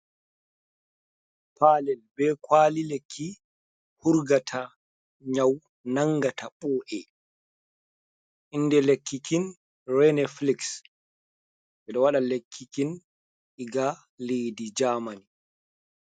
Palel be kwali lekki hurgata nyau nangata ɓo’e inde lekki kin Renelix ɓe ɗo waɗa lekki kin diga leddi jamani.